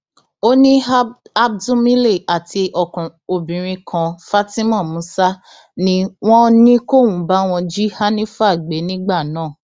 ó ní abdulmile àti obìnrin kan fatima musa ni wọn ní kóun báwọn jí hanifa gbé nígbà náà